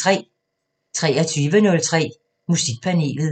23:03: Musikpanelet